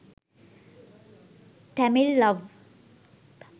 tamil love